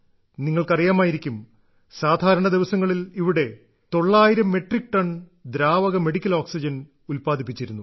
നിങ്ങൾക്ക് അറിയാമായിരിക്കും സാധാരണ ദിവസങ്ങളിൽ ഇവിടെ 900 മെട്രിക് ടൺ ദ്രാവക മെഡിക്കൽ ഓക്സിജൻ ഉത്പാദിപ്പിച്ചിരുന്നു